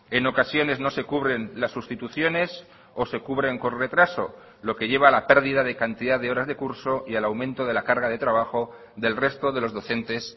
en ocasiones no se cubren las sustituciones o se cubren con retraso lo que lleva la pérdida de cantidad de horas de curso y al aumento de la carga de trabajo del resto de los docentes